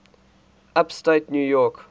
upstate new york